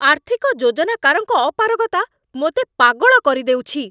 ଆର୍ଥିକ ଯୋଜନାକାରଙ୍କ ଅପାରଗତା ମୋତେ ପାଗଳ କରିଦେଉଛି!